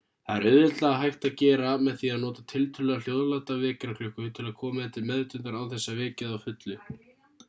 það er auðveldlega hægt að gera með því að nota tiltölulega hljóðláta vekjaraklukku til að koma þér til meðvitundar án þess að vekja þig að fullu